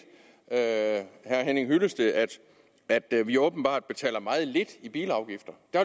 herre henning hyllested at at vi åbenbart betaler meget lidt i bilafgifter der